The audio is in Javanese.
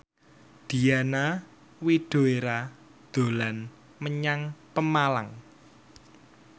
Diana Widoera dolan menyang Pemalang